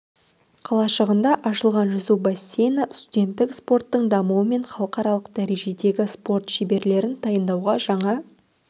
қалашығында ашылған жүзу бассейні студенттік спорттың дамуы мен халықаралық дәрежедегі спорт шеберлерін дайындауға жаңа